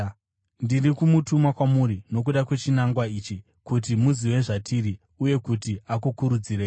Ndiri kumutuma kwamuri nokuda kwechinangwa ichi, kuti muzive zvatiri, uye kuti akukurudzirei.